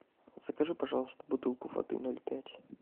закажи пожалуйста бутылку воды ноль пять